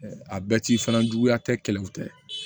A bɛɛ t'i fana juguya tɛ kɛlɛ u tɛ